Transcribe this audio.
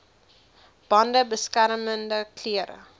bande beskermende klere